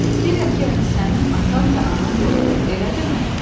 Deyirəm ki, yəni sənin atan və anan yoxdur, elə deyilmi?